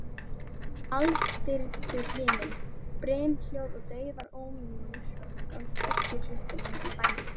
Alstirndur himinn, brimhljóð og daufur ómur frá kirkjuklukkunum í bænum.